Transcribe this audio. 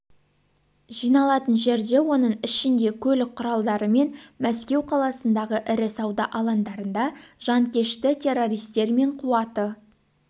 жиналатын жерде оның ішінде көлік құралдары мен мәскеу қаласындағы ірі сауда алаңдарында жанкешті-террористер мен қуаты